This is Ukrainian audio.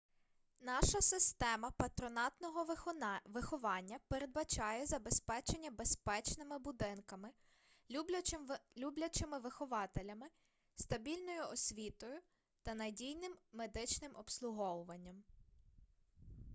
наша система патронатного виховання передбачає забезпечення безпечними будинками люблячим вихователями стабільною освітою та надійним медичним обслуговуванням